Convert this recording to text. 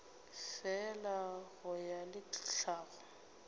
fela go ya le tlhago